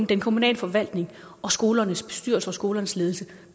den kommunale forvaltning og skolernes bestyrelse og skolernes ledelse